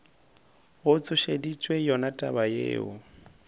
go tsošeditše yona taba yeo